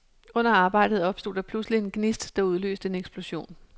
Under arbejdet opstod der pludseligt en gnist, der udløste en eksplosion.